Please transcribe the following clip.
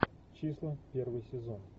числа первый сезон